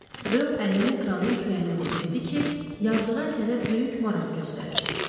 Reyo əlini qranın kürəyinə vurub dedi ki, yazdığı əsərə böyük maraq göstərir.